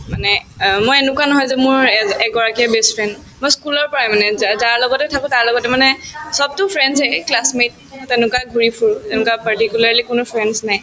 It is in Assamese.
মানে অ মই এনেকুৱা নহয় যে মোৰ এজ এগৰাকীয়ে best friend মই school ৰ পৰাই মানে যা যাৰ লগতে থাকো তাৰ লগতে মানে চবতো friends য়ে classmate তেনেকুৱা ঘূৰি ফুৰো এনেকুৱা particularly কোনো friends নাই